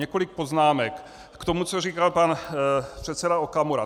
Několik poznámek k tomu, co říkal pan předseda Okamura.